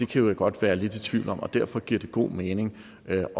kan vi godt være lidt i tvivl om og derfor giver det god mening at